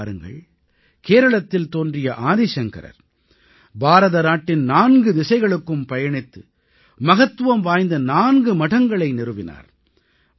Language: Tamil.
நீங்களே பாருங்கள் கேரளத்தில் தோன்றிய ஆதி சங்கரர் பாரதநாட்டின் நான்கு திசைகளுக்கும் பயணித்து மகத்துவம் வாய்ந்த நான்கு மடங்களை நிறுவினார்